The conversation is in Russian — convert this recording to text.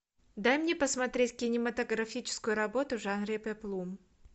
дай мне посмотреть кинематографическую работу в жанре пеплум